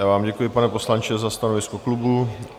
Já vám děkuji, pane poslanče, za stanovisko klubu.